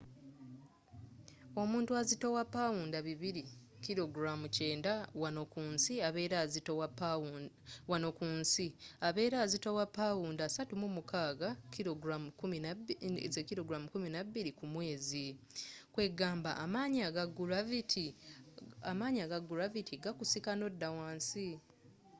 omuntu azitowa pawunda 200 90kg wano ku nsi abera azitowa pawunda 36 16kg ku mwezi. kwegamba amanyi aga gulavity gakusika nodda wansi